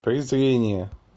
презрение